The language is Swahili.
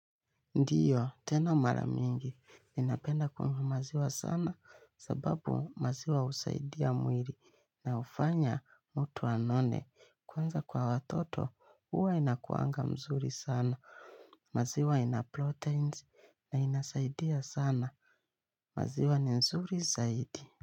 Ndiyo, tena mara mingi ninapenda kunywa maziwa sana kwa sababu maziwa husaidia mwili na hufanya mtu anone kwanza kwa watoto huwa inakuanga mzuri sana maziwa ina proteins na inasaidia sana, maziwa ni mzuri zaidi.